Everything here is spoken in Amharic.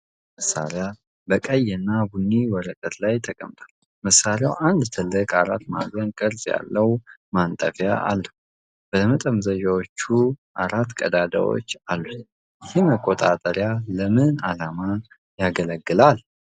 አራት ማዕዘን ቅርጽ ያለው ነጭ የኤሌክትሪክ መቆጣጠሪያ መሳሪያ፣ በቀይ እና ቡኒ ወረቀት ላይ ተቀምጧል። መሣሪያው አንድ ትልቅ አራት ማዕዘን ቅርጽ ያለው ማንጠፊያ አለው፤ ለመጠምዘዣዎችም አራት ቀዳዳዎች አሉት። ይህ መቆጣጠሪያ ለምን ዓላማ ያገለግላል?